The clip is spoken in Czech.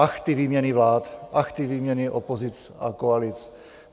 Ach, ty výměny vlád, ach, ty výměny opozic a koalic.